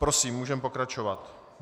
Prosím, můžeme pokračovat.